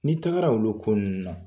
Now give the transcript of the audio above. Ne tagara olu ko ninnu na.